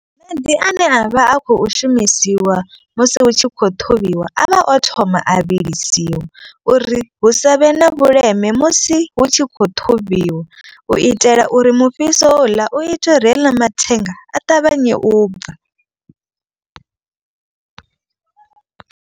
Maḓi ane a vha a khou shumisiwa musi hu tshi khou ṱhuvhiwa. A vha o thoma a vhilisiwa uri hu savhe na vhuleme musi hu tshi khou ṱhuvhiwa. U itela uri mufhiso houḽa u itela uri heiḽa mathenga a ṱavhanye u bva.